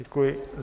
Děkuji.